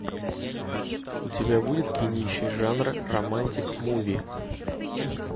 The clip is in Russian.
у тебя будет кинище жанра романтик муви